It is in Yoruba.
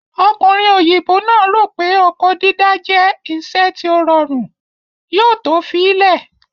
Ọkùnrin òyìnbó náà rò pé oko dídá jẹ́ iṣẹ́ tí ó rọrùn, yóò to fi í lẹ̀